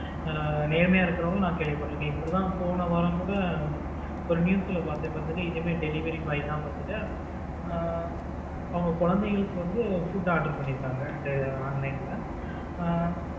அஹ் நேர்மையாய் இருக்கிறவங்களும் நான் கேள்விப்பட்டு இருக்கிறேன் இப்படி தான் போன வாரம் கூட ஒரு news ல பார்த்தேன் பார்த்துக்கோ இதே மாதிரி delivery boy தான் பாத்துக்கோ அஹ் அவங்க குழந்தைகளுக்கு வந்து food order பண்ணியிருக்காங்க online ல